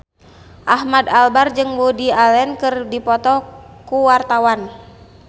Ahmad Albar jeung Woody Allen keur dipoto ku wartawan